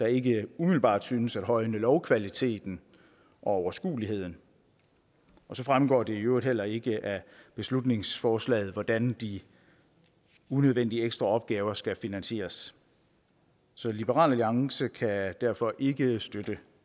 ikke umiddelbart synes at højne lovkvaliteten og overskueligheden så fremgår det øvrigt heller ikke af beslutningsforslaget hvordan de unødvendige ekstra opgaver skal finansieres så liberal alliance kan derfor ikke støtte